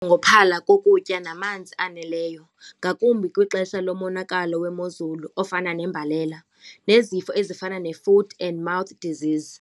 kokutya namanzi aneleyo ngakumbi kwixesha lomonakalo wemozulu ofana nembalela nezifo ezifana ne-foot and mouth disease.